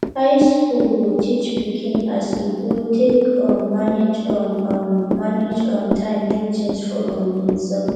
high school go teach pikin as e go take um manage um um manage um time do things for um himself